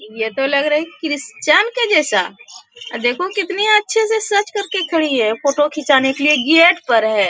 ये तो लग रहा है क्रिस्टन के जैसा अ देखो कितनी अच्छी सी सज कर के खड़ी है फोटो खिचाने के लिए गेट पर है।